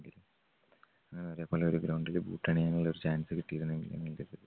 അവരെ പോലെ ഒരു ground ല് boot അണിയാനുള്ള ഒരു chance കിട്ടിയിരുന്നെങ്കിൽ